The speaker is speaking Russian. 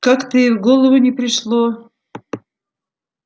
как-то и в голову не пришло